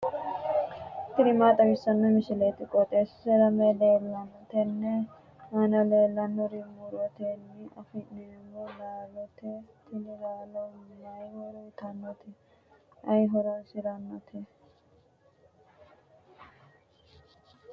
tini maa xawissanno misileeti? qooxeessisera may leellanno? tenne aana leellannori murotenni afi'neemmo laalooti. tini laalo may horo uyiitannote? ayi horoonsirannote?